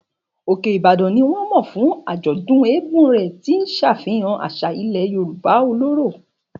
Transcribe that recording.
Òkè Ìbàdàn ni wọ́n mọ̀ fún àjọ̀dún eégún rẹ̀, tí ó ń ṣàfihàn àṣà ilẹ̀ Yorùbá ọlọ́rọ̀.